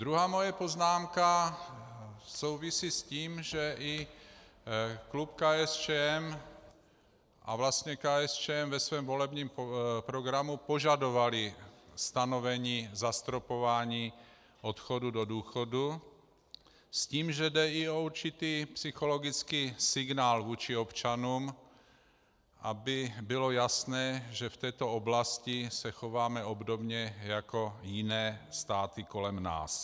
Druhá moje poznámka souvisí s tím, že i klub KSČM, a vlastně KSČM ve svém volebním programu požadovala stanovení zastropování odchodu do důchodu s tím, že jde i o určitý psychologický signál vůči občanům, aby bylo jasné, že v této oblasti se chováme obdobně jako jiné státy kolem nás.